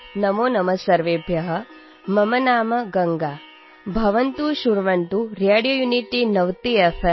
नमोनमः सर्वेभ्यः । मम नाम गङ्गा । भवन्तः शृण्वन्तु रेडियोयुनिटीनवतिएफ्